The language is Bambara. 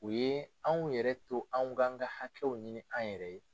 U ye anw yɛrɛ to anw k'an ka hakɛw ɲini an yɛrɛ ye.